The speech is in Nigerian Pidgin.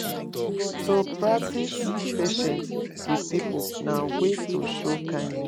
To practice patience with pipo na way to show kindness